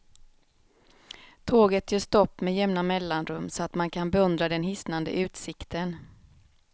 Tåget gör stopp med jämna mellanrum så att man kan beundra den hisnande utsikten.